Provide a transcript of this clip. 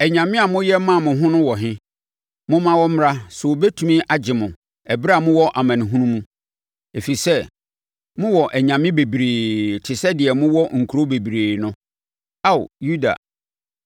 Anyame a moyɛ maa mo ho no wɔ he? Momma wɔmmra sɛ wobɛtu agye mo ɛberɛ a mowɔ amanehunu mu! Ɛfiri sɛ mowɔ anyame bebree te sɛ deɛ mowɔ nkuro bebree no, Ao Yuda.